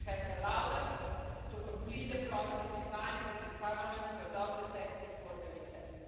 This has allowed us to complete the process in time for this Parliament to adopt the text before the recess.